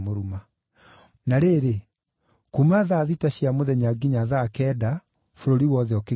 Na rĩrĩ, kuuma thaa thita cia mũthenya nginya thaa kenda bũrũri wothe ũkĩgĩa nduma.